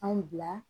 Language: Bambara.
Anw bila